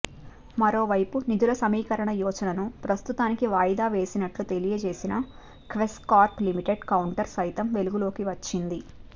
మరోవైపు నిధుల సమీకరణ యోచనను ప్రస్తుతానికి వాయిదా వేసినట్లు తెలియజేసిన క్వెస్ కార్ప్ లిమిటెడ్ కౌంటర్ సైతం వెలుగులోకి వచ్చింది